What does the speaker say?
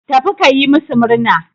Tafi ka yi masu murna.